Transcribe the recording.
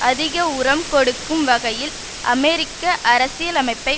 அதிக உரம் கொடுக்கும் வகையில் அமெரிக்க அரசியலமைப்பை